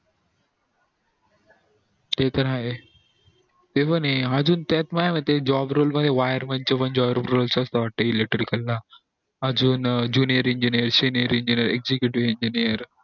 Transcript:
ते तर आहे ते पण ये एक अजून त्यात माया मते त्या मध्ये job role मध्ये wireman चे पण job role आहे electrical ला अजून junior engineer senior engineering